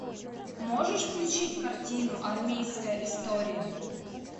можешь включить картину армейская история